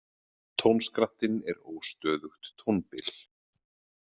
Tónskrattinn er óstöðugt tónbil.